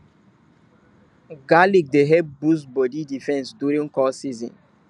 garlic dey help boost body defense during cold season